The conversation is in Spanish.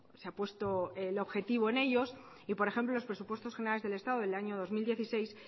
se ha puesto el objetivo en ellos y por ejemplo en los presupuestos generales del estado del año dos mil dieciséis